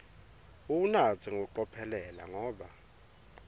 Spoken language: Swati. uwunatse ngekucophelela ngoba